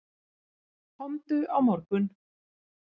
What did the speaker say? Komdu á morgun.